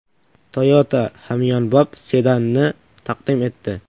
Toyota hamyonbop sedanni taqdim etdi.